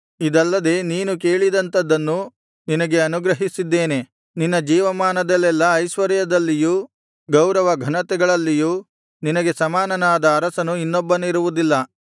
ಇದಲ್ಲದೆ ನೀನು ಕೇಳಿದಂಥದ್ದನ್ನೂ ನಿನಗೆ ಅನುಗ್ರಹಿಸಿದ್ದೇನೆ ನಿನ್ನ ಜೀವಮಾನದಲ್ಲೆಲ್ಲಾ ಐಶ್ವರ್ಯದಲ್ಲಿಯೂ ಗೌರವ ಘನತೆಗಳಲ್ಲಿಯೂ ನಿನಗೆ ಸಮಾನನಾದ ಅರಸನು ಇನ್ನೊಬ್ಬನಿರುವುದಿಲ್ಲ